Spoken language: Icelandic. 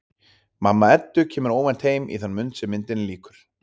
Mamma Eddu kemur óvænt heim í þann mund sem myndinni lýkur.